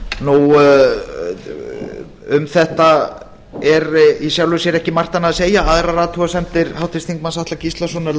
nú um þetta er í sjálfu sér ekki margt annað að segja aðrar athugasemdir háttvirtur þingmaður atla gíslasonar